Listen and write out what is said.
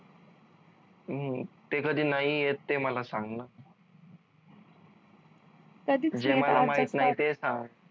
हम्म ते कधी नाही येत ते मला सांग न जे मला माहित नाही ते सांग